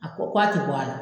A ko k'a tɛ bɔ a la.